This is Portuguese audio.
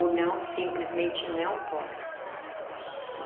Ou não, simplesmente não posso.